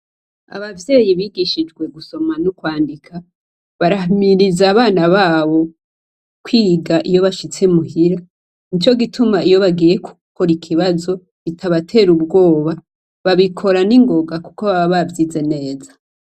Abavyeyi bigishijwe gusoma no kw'andika, barahimiriza abana babo kw'iga iyo nashitse muhira. N'ico gituma iyo bagiye gukora ikibazo kitabatera ubwoba. Babikora ningonga kuko baba bavyize neza.